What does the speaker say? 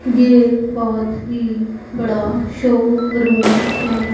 ये बहोत ही बड़ा शोरूम हैं।